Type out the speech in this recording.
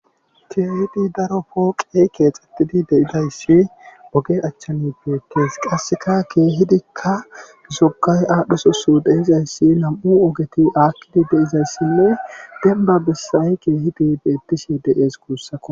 Keehidi daro pooqey keexxettidi deidayssi oge achchami beetees qasseka keehidikka zokay aadhdhesosu deizayssi nam7u ogeti aakkidi deizayssinne denba bessay keehidi beettishe de7ees kuussakko.